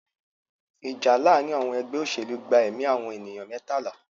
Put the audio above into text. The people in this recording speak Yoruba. Ìjà láàárín àwọn ẹgbẹ́ òṣèlú gba ẹ̀mí àwọn ènìyàn mẹ́tàlá.